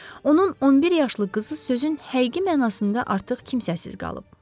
Onun 11 yaşlı qızı sözün həqiqi mənasında artıq kimsəsiz qalıb.